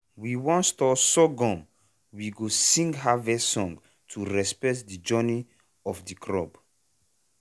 when we wan store sorghum we go sing harvest song to respect the journey of the crop.